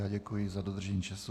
Já děkuji za dodržení času.